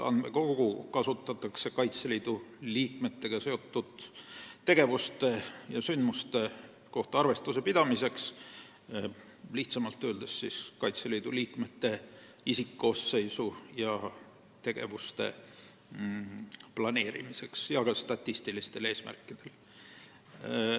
Andmekogu kasutatakse Kaitseliidu liikmetega seotud tegevuste ja sündmuste kohta arvestuse pidamiseks, lihtsamalt öeldes Kaitseliidu tegevusteks vajaliku isikkoosseisu planeerimiseks ja ka statistilistel eesmärkidel.